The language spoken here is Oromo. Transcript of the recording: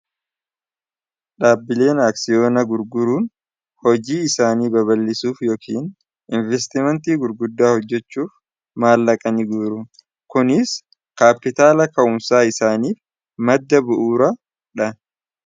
dhaabbileen aaksiyoona gurguruun hojii isaanii baballisuuf yookiin investimenti gurguddaa hojjechuuf maallaqa ni guru kuniis kaapitaala ka'umsaa isaaniif madda bu'uura dha